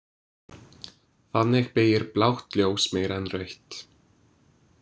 Þannig beygir blátt ljós meira en rautt.